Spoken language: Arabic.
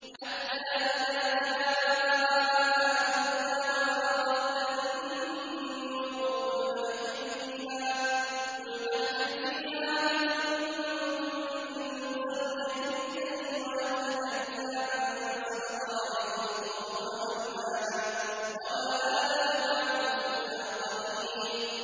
حَتَّىٰ إِذَا جَاءَ أَمْرُنَا وَفَارَ التَّنُّورُ قُلْنَا احْمِلْ فِيهَا مِن كُلٍّ زَوْجَيْنِ اثْنَيْنِ وَأَهْلَكَ إِلَّا مَن سَبَقَ عَلَيْهِ الْقَوْلُ وَمَنْ آمَنَ ۚ وَمَا آمَنَ مَعَهُ إِلَّا قَلِيلٌ